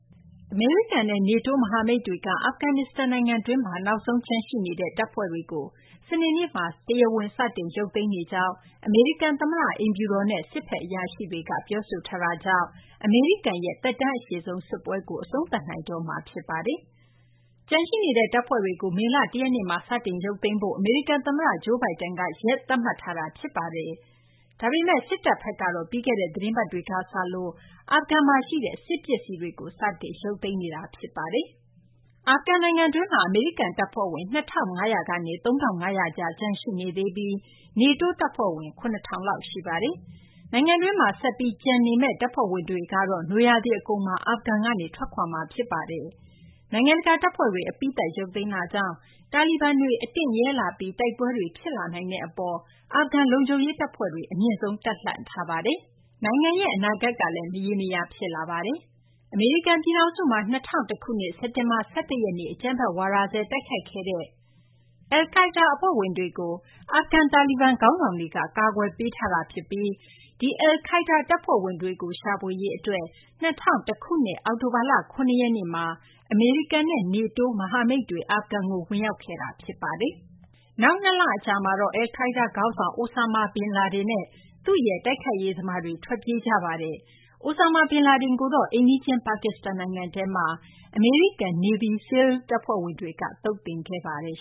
အမေရိကန်နဲ့ NATO မဟာမိတ်တွေက အာဖဂန်နစ္စတန် နိုင်ငံတွင်းမှာ နောက်ဆုံးကျန်ရှိနေတဲ့ တပ်ဖွဲ့တွေကို စနေနေ့မှာ တရားဝင် စတင်ရုပ်သိမ်းနေကြောင်း အမေရိကန်သမ္မတ အိမ်ဖြူတော်နဲ့ စစ်ဘက် အရာရှိတွေက ပြောဆိုထားတာကြောင့် အမေရိကန်ရဲ့ အရှည်ကြာဆုံးစစ်ပွဲကို အဆုံးသတ်နိုင်တော့မှာ ဖြစ်ပါတယ်။ ကျန်ရှိနေတဲ့ တပ်ဖွဲ့တွေကို မေလ ၁ ရက်နေ့မှာ စတင်ရုပ်သိမ်းဖို့ အမေရိကန်သမ္မတ Joe Biden က ရက်သတ်မှတ်ထားတာ ဖြစ်ပါတယ်။ ဒါပေမယ့် စစ်တပ်ဘက်ကတော့ ပြီးခဲ့တဲ့ သီတင်းပတ်တွေက စလို့ အာဖဂန်က စစ်ပစ္စည်းတွေကို စတင်ရုပ်သိမ်းနေတာ ဖြစ်ပါတယ်။ အာဖဂန်နိုင်ငံတွင်းမှာ အမေရိကန်တပ်ဖွဲ့ဝင် ၂,၅၀၀ ကနေ ၃,၅၀၀ ကြား ကျန်ရှိနေသေးပြီး NATO တပ်ဖွဲ့ဝင် ၇,၀၀၀ လောက် ရှိနေပါတယ်။ နိုင်ငံတွင်းမှာ ဆက်ပြီး ကျန်ရှိမယ့် တပ်ဖွဲ့ဝင်တွေကတော့ နွေရာသီအကုန်မှာ အာဖဂန်ကနေ ထွက်ခွာမှာ ဖြစ်ပါတယ်။ နိုင်ငံတကာတပ်ဖွဲ့တွေ အပြီးသတ် ရုပ်သိမ်းတာကြောင့် တာလီဘန်တွေ အတင့်ရဲလာပြီး တိုက်ပွဲတွေ ဖြစ်လာနိုင်တဲ့အပေါ် အာဖဂန် လုံခြုံရေးတပ်ဖွဲ့တွေ အမြင့်ဆုံး တပ်လှန့်ထားပါတယ်။ နိုင်ငံရဲ့ အနာဂတ်ကလည်း မရေမရာ ဖြစ်လာပါတယ်။ အမေရိကန်ပြည်ထောင်စုမှာ ၂၀၀၁ ခုနှစ် စက်တင်ဘာလ ၁၁ ရက်နေ့က အကြမ်းဖက်ဝါဒစွဲ တိုက်ခိုက်ခဲ့တဲ့ အယ်လ်ကိုင်းဒါး အဖွဲ့ဝင်တွေကို အာဖဂန် တာလီဘန် ခေါင်းဆောင်တွေက ကာကွယ်ပေးထားတာဖြစ်ပြီး ဒီ အယ်လ်ကိုင်းဒါး အဖွဲ့ဝင်တွေကို ရှာဖွေရေးအတွက် ၂၀၀၁ ခုနှစ် အောက်တိုဘာလ ၇ ရက်နေ့မှာ အမေရိကန်နဲ့ NATO မဟာမိတ်တွေ အာဖဂန်ကို ဝင်ရောက်ခဲ့တာ ဖြစ်ပါတယ်။ နောက် ၂ လ အကြာမှာတော့ အယ်လ်ကိုင်းဒါးခေါင်းဆောင် Osama bin Laden နဲ့ သူ့ရဲ့ တိုက်ခိုက်ရေးသမားတွေ ထွက်ပြေးခဲ့တာပါ။ Osama bin Laden ကိုတော့ အိမ်နီးချင်း ပါကစ္စတန်နိုင်ငံထဲမှာ အမေရိကန် Navy SEALS တပ်ဖွဲ့ဝင်တွေက သုတ်သင်ခဲ့ပါတယ်